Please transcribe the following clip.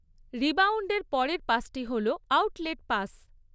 রিবাউন্ডের পরের পাসটি হল আউটলেট পাস।